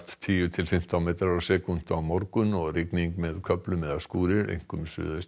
tíu til fimmtán metrar á sekúndu á morgun og rigning með köflum eða skúrir einkum